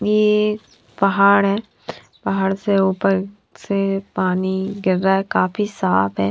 ये एक पहाड़ है पहाड़ से ऊपर से पानी गिर रहा है काफी साफ है।